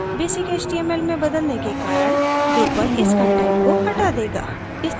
basic html में बदलने के कारण drupal इस कंटेंट को हटा देगा